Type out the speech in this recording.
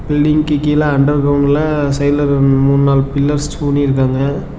பில்டிங்க்கு கீழ அண்டர் கிரவுண்ட்ல சைடுல மூணு நாலு பில்லர்ஸ் ஊனி இருக்காங்க.